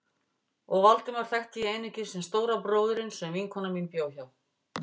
Og Valdemar þekkti ég einungis sem stóra bróðurinn sem vinkona mín bjó hjá.